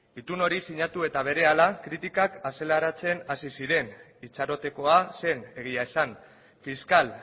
itun hori sinatu eta berehala kritikak azaleratzen hasi ziren itxarotekoa zen egia esan fiskal